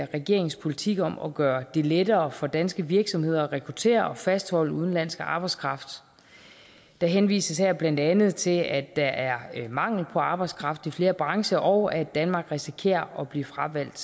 regeringens politik om at gøre det lettere for danske virksomheder at rekruttere og fastholde udenlandsk arbejdskraft der henvises her blandt andet til at der er mangel på arbejdskraft i flere brancher og at danmark risikerer at blive fravalgt